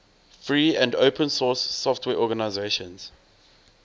free and open source software organizations